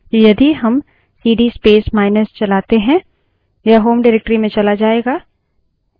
तो यदि हम सीडी space माइनस चलाते हैं यह home directory में चला जायेगा